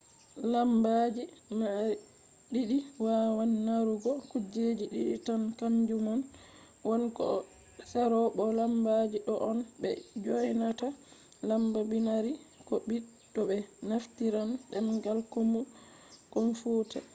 lambaji je mari didi wawan marugo kuje didi tan kanjumon 1 ko 0 bo lambaji do on be dyonata lamba binary ko bits to be naftiran demgal komfuta